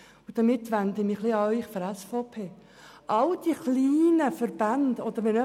Damit wende ich mich an die Vertreter der SVP.